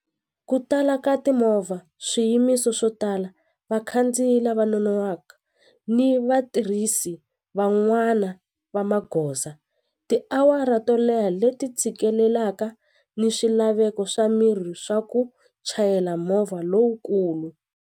Ku tala ka timovha swiyimiso swo tala vakhandziyi lava nonohwaka ni vatirhisi van'wana va magoza tiawara to leha leti tshikelelaka ni swilaveko swa miri swa ku chayela movha lowukulu.